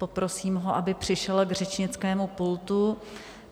Poprosím ho, aby přišel k řečnickému pultu.